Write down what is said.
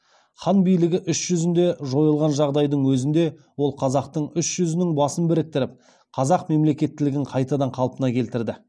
хан билігі үш жүзінде жойылған жағдайдың өзінде ол қазақтың үш жүзінің басын біріктіріп қазақ мемлекеттілігін қайтадан қалпына келтірді